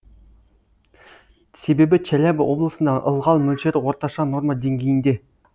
себебі челябі облысында ылғал мөлшері орташа норма денгейінде